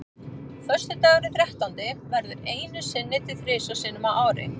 Föstudagurinn þrettándi verður einu sinni til þrisvar sinnum á ári.